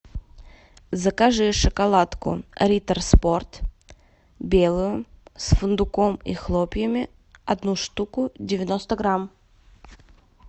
закажи шоколадку риттер спорт белую с фундуком и хлопьями одну штуку девяносто грамм